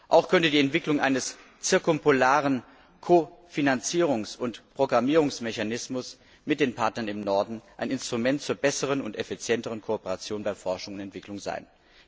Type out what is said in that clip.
Auch könnte die Entwicklung eines zirkumpolaren Kofinanzierungs und Programmierungsmechanismus mit den Partnern im Norden ein Instrument zur besseren und effizienteren Kooperation bei Forschung und Entwicklung sein.